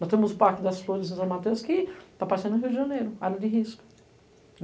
Nós temos o Parque das Flores em São Mateus que está passando em Rio de Janeiro, área de risco.